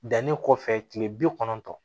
Danni kɔfɛ tile bi kɔnɔntɔn